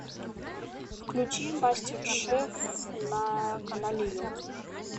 включи мастер шеф на канале ю